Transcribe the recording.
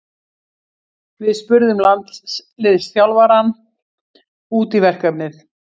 Við spurðum landsliðsþjálfarann út í verkefnið.